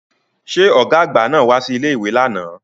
Ṣé ọ̀gá àgbà náà wá sí ilé-ìwé lánàá